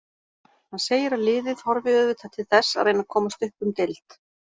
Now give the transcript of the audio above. Hann segir að liðið horfi auðvitað til þess að reyna komast upp um deild.